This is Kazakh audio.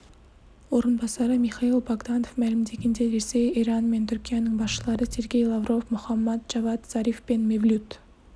орынбасары михаил богданов мәлімдегендей ресей иран мен түркияның басшылары сергей лавров мохаммад джавад зариф пен мевлют